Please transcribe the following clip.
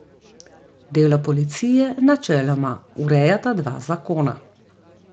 Delo policije načeloma urejata dva zakona.